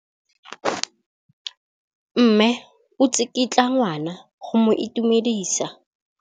Mme o tsikitla ngwana go mo itumedisa.